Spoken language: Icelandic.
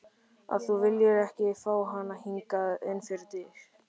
Að þú viljir ekki fá hana hingað inn fyrir dyr!